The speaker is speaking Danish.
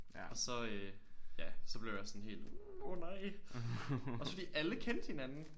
Og så øh ja så blev jeg sådan helt åh nej også fordi alle kendte hinanden